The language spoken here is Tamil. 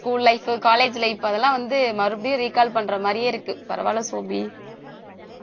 school life college life அதெல்லாம் வந்து மறுபடியும் recall பண்ற மாதிரியே இருக்கு பரவாயில்ல சோபி